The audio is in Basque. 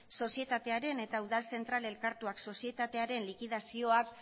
sozietatearen eta udal zentral elkartuak sozietatearen likidazioak